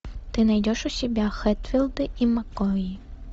ты найдешь у себя хэтфилды и маккои